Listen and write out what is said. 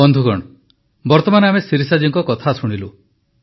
ବନ୍ଧୁଗଣ ବର୍ତ୍ତମାନ ଆମେ ଶିରିଷାଜୀଙ୍କ କଥା ଶୁଣିଲୁ